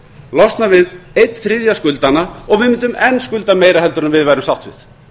losna við einn þriðja skuldanna og við mundum enn skulda meira heldur en við værum sáttir